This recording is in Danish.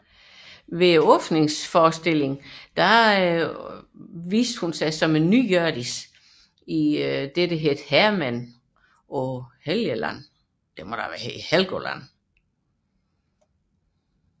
Ved åbningsforestillingen optrådte hun på ny som Hjørdis i Hærmændene paa Helgeland